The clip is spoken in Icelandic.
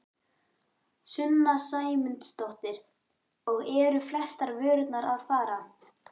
Sunna Sæmundsdóttir: Og eru flestar vörurnar að fara?